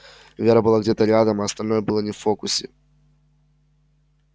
вера была где-то рядом а остальное было не в фокусе